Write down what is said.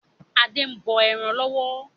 Adé ń bọ ẹran lọ́wọ́.